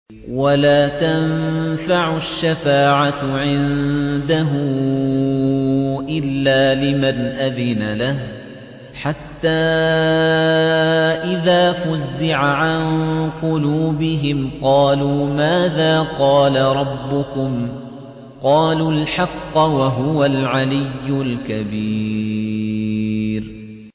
وَلَا تَنفَعُ الشَّفَاعَةُ عِندَهُ إِلَّا لِمَنْ أَذِنَ لَهُ ۚ حَتَّىٰ إِذَا فُزِّعَ عَن قُلُوبِهِمْ قَالُوا مَاذَا قَالَ رَبُّكُمْ ۖ قَالُوا الْحَقَّ ۖ وَهُوَ الْعَلِيُّ الْكَبِيرُ